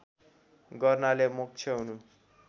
गर्नाले मोक्ष हुनु